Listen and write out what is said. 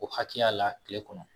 O hakɛya la tile kɔnɔ